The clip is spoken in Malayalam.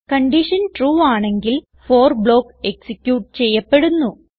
കൺഡിഷൻ ട്രൂ ആണെങ്കിൽ ഫോർ ബ്ലോക്ക് എക്സിക്യൂട്ട് ചെയ്യപ്പെടുന്നു